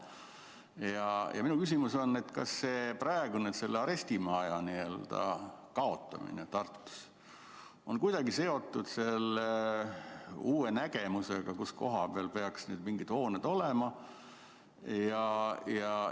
Minu küsimus on: kas praeguse arestimaja kaotamine Tartus on kuidagi seotud selle uue nägemusega, kus koha peal peaks mingid hooned olema?